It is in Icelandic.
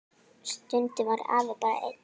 Stundum var afi bara einn.